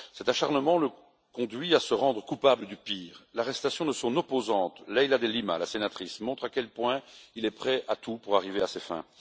Cet acharnement le conduit à se rendre coupable du pire. L'arrestation de son opposante, la sénatrice Leila De Lima, montre à quel point il est prêt à tout pour arriver à ses fins.